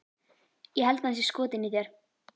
Ég held að hann sé skotinn í þér